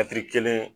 kelen